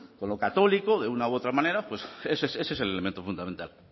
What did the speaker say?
con lo católico de una u otra manera pues ese es el elemento fundamental